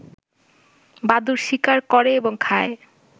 বাদুড় শিকার করে এবং খায়